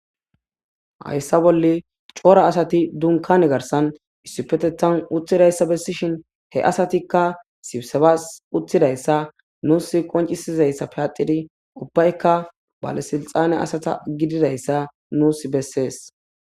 Hayssa bolle coora asati dunkane garsan issipete tan utthidayssa bessishin he asatikka sibsebas uthidayssa nuus qoncisizayssa peaxidi ubbaykka balesilxane asata gididayssa nuus bessees.